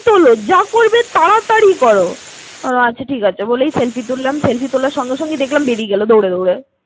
তোলো, যা করবে তাড়াতাড়ি করো। ওহ আচ্ছা ঠিক আছে, বলে selfie তুললাম, selfie তোলার সঙ্গে সঙ্গেই দেখলাম বেড়িয়ে গেলো সঙ্গে সঙ্গে।